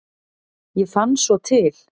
Ég fann svo til.